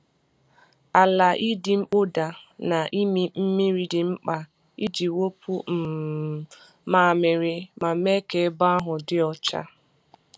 Ala ịdị mkpọda na ịmị mmiri dị mkpa iji wepụ um mmamịrị ma mee ka ebe ahụ dị ọcha.